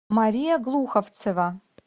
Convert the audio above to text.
мария глуховцева